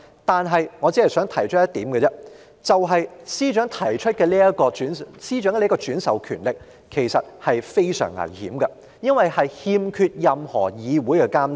但我只想提出一點，就是司長獲轉授如此權力其實是相當危險的，因為它欠缺任何議會監察。